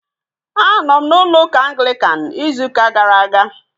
Anọ m na ụlọ ụka Anglikan ịzụ ụka gara aga